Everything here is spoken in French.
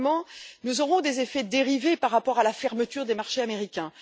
Troisièmement, nous aurons des effets dérivés par rapport à la fermeture des marchés américains.